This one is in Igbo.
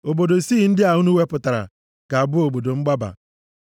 Obodo isii ndị a unu wepụtara ga-abụ obodo mgbaba.